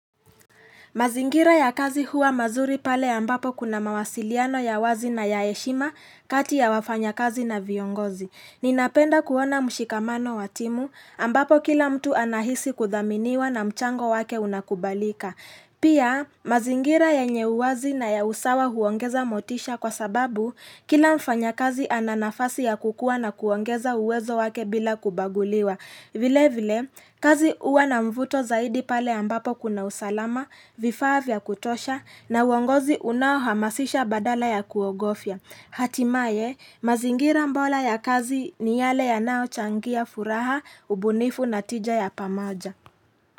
Mazingira ya kazi huwa mazuri pale ambapo kuna mawasiliano ya wazi na ya heshima kati ya wafanya kazi na viongozi. Ninapenda kuona mshikamano wa timu ambapo kila mtu anahisi kudhaminiwa na mchango wake unakubalika. Pia, mazingira yenye uwazi na ya usawa huongeza motisha kwa sababu kila mfanya kazi ana nafasi ya kukua na kuongeza uwezo wake bila kubaguliwa. Vile vile, kazi uwa na mvuto zaidi pale ambapo kuna usalama, vifaa vya kutosha na uongozi unao hamasisha badala ya kuogofya. Hatimaye, mazingira bora ya kazi ni yale yanayochangia furaha, ubunifu na tija ya pamaja.